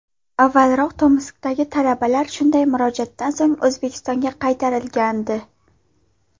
Avvalroq Tomskdagi talabalar shunday murojaatdan so‘ng O‘zbekistonga qaytarilgandi.